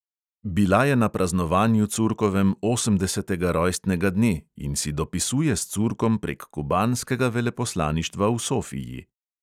Bila je na praznovanju curkovem osemdesetega rojstnega dne in si dopisuje s curkom prek kubanskega veleposlaništva v sofiji.